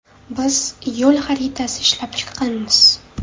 Biz ‘yo‘l xaritasi’ ishlab chiqqanmiz.